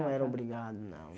Não era obrigado, não.